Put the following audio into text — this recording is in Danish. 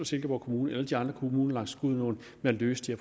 silkeborg kommune og de andre kommuner langs gudenåen med at løse de